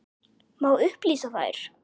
Má upplýsa þær?